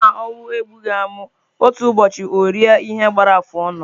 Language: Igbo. Ọ bụrụ na ọnwụ egbughị amụ, otu ụbọchị orie ihe gbara afụ ọnụ.